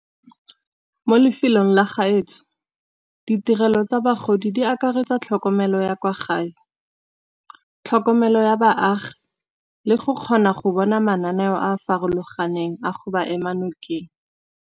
Mo lefelong la gaetsho ditirelo tsa bagodi di akaretsa tlhokomelo ya kwa gae, tlhokomelo ya baagi, le go kgona go bona mananeo a a farologaneng a go ba ema nokeng.